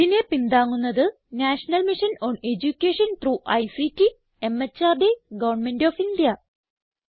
ഇതിനെ പിന്താങ്ങുന്നത് national mission on education through ICT MHRD government of India